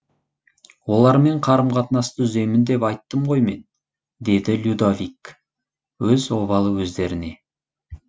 олармен қарым қатынасты үземін деп айттым ғой мен деді людовик өз обалы өздеріне